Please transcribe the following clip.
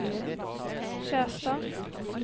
Skjerstad